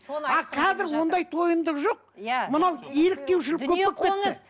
ал қазір ондай тойымдық жоқ иә мынау еліктеушілік көп